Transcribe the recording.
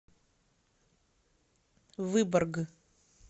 выборг